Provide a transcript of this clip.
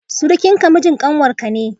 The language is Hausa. surukinki mijin kanwarki ne.